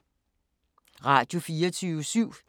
Radio24syv